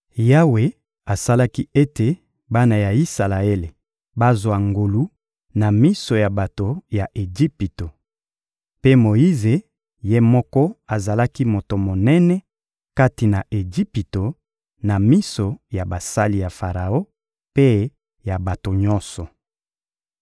Yawe asalaki ete bana ya Isalaele bazwa ngolu na miso ya bato ya Ejipito. Mpe Moyize ye moko azalaki moto monene kati na Ejipito, na miso ya basali ya Faraon mpe ya bato nyonso.